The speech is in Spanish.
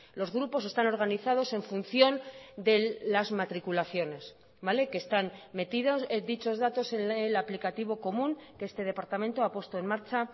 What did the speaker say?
los grupos están organizados en función de las matriculaciones vale que están metidos dichos datos en el aplicativo común que este departamento ha puesto en marcha